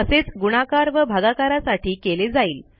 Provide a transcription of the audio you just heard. असेच गुणाकार व भागाकारासाठी केले जाईल